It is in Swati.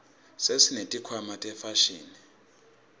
sesineti khwama tefashini